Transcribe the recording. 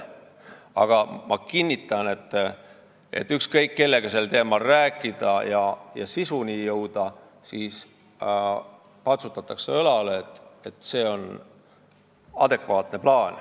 Aga ma kinnitan, et kõik, kellega olen saanud sel teemal rääkida ja sisuni jõuda, on õlale patsutanud ja öelnud, et see on adekvaatne plaan.